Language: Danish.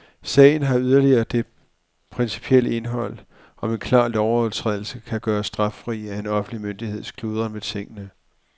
Sagen har yderligere det principielle indhold, om en klar lovovertrædelse kan gøres straffri af en offentlig myndigheds kludren med tingene.